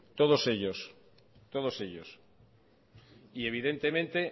todos ellos todos ellos y evidentemente